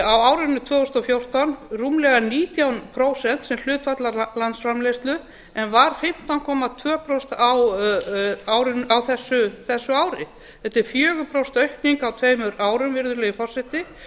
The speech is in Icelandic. á árinu tvö þúsund og fjórtán rúmlega nítján prósent sem hlutfall af landsframleiðslu en var fimmtán komma tvö prósent á þessu ári þetta er fjögur prósent aukning á tveimur árum virðulegi forseti